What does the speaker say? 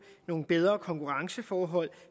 nogle bedre konkurrenceforhold